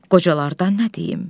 Qocalardan nə deyim?